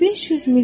500 milyon.